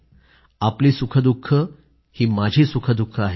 आपली सुखंदुःखं ही माझी सुखंदुःखं आहेत